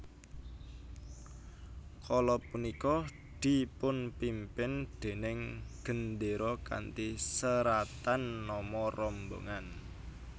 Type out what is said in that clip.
Kala punika dipunpimpin déning gendéra kanthi seratan nama rombongan